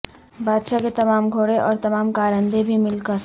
بادشاہ کے تمام گھوڑے اور تمام کارندے بھی مل کر